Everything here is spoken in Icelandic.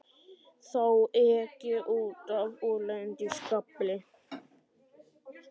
Þá ek ég út af og lendi í skafli.